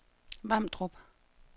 Vamdrup